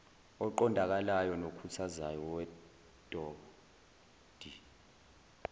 oqondakalayo nokhuthazayo wedod